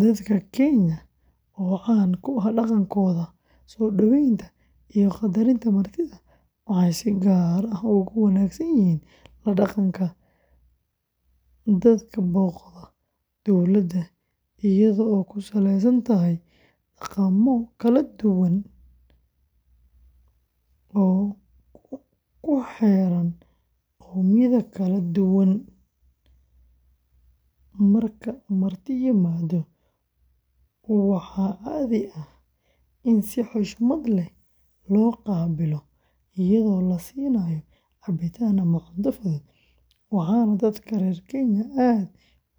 Dadka Kenya, oo caan ku ah dhaqankooda soo dhaweynta iyo qaddarinta martida, waxay si gaar ah ugu wanaagsan yihiin la dhaqanka dadka booqda dalalkooda, iyadoo ay ku saleysan tahay dhaqammo kala duwan oo ku xeeran qowmiyadooda kala duwan, marka marti yimaado, waxaa caadi ah in si xushmad leh loo qaabilo iyadoo la siiyo cabitaan ama cunto fudud, waxaana dadka reer Kenya aad